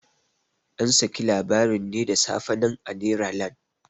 An saki labarin ne da safe nan a neralan.